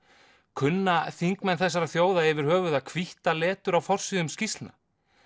kunna þingmenn þessara þjóða yfir höfuð að hvítta letur á forsíðum skýrslna